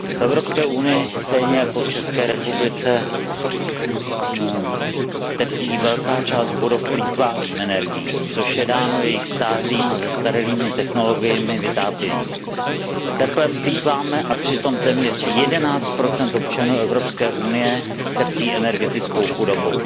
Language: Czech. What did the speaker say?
V EU stejně jako v České republice trpí velká část budov plýtváním energií, což je dáno jejich stářím a zastaralými technologiemi vytápění. Teplem plýtváme a přitom téměř 11 občanů EU trpí energetickou chudobou.